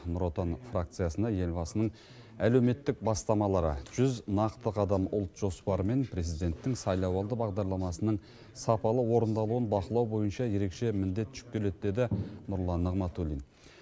нұр отан фракциясына елбасының әлеуметтік бастамалары жүз нақты қадам ұлт жоспары мен президенттің сайлауалды бағдарламасының сапалы орындалуын бақылау бойынша ерекше міндет жүктеледі деді нұрлан нығматулин